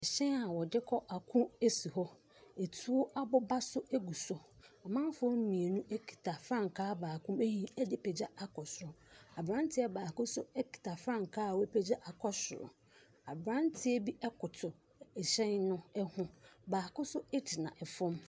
Ɛhyɛn a wɔde kɔ ɛko esi hɔ, etuo aboba nso egu so. Amanfoɔ mienu ekita frankaa baako ayi apagya akɔ soro. Abranteɛ baako so ekita frankaa a wapagya akɔ soro. Abranteɛ bi ɛkoto ɛhyɛn ho. Baako nso egyina ɛfɔm.